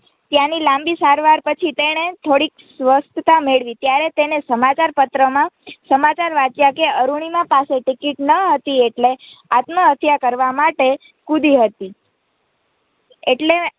ત્યાંની લાંબી સારવાર પછી તેણે થોડી સ્વસ્થતા મેળવી ત્યારે તેણે સમાચારપત્રોમાં સમાચાર વાંચ્યા કે અરૂણિમા પાસે ટિકિટ ન હતી એટલે આત્મહત્યા કરવા માટે કૂદી હતી એટલે